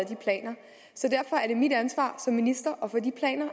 de planer så derfor er det mit ansvar som minister